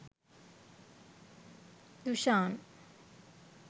dushan